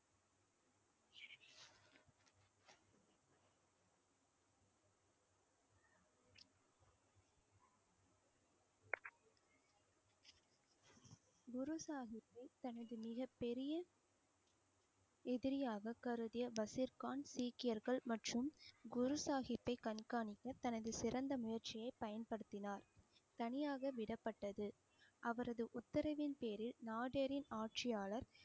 எதிரியா கருதிய பசீர் கான் சீக்கியர்கள் மற்றும் குரு சாகிப்பை கண்காணிக்க, தனது சிறந்த முயற்சியை பயன்படுத்தினார் தனியாக விடப்பட்டது அவரது உத்தரவின் பேரில் நாதேரின் ஆட்சியாளர்